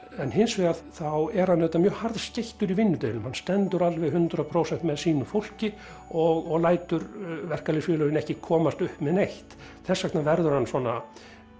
Hins vegar er hann auðvitað mjög harðskeyttur í vinnudeilum hann stendur alveg hundrað prósent með sínu fólki og lætur verkalýðsfélögin ekki komast upp með neitt þess vegna verður hann svona